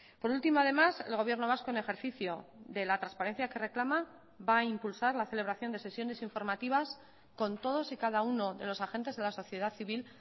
por último además el gobierno vasco en ejercicio de la transparencia que reclama va a impulsar la celebración de sesiones informativas con todos y cada uno de los agentes de la sociedad civil